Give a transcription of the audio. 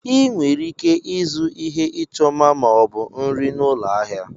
Ị nwere ike ịzụ ihe ịchọ mma ma ọ bụ nri n'ụlọ ahịa.